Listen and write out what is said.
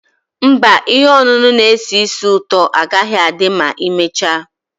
Mba, ihe ọṅụṅụ na-esi ísì ụtọ agaghị adị ma emechaa.